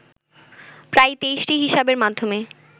প্রায় ২৩টি হিসাবের মাধ্যমে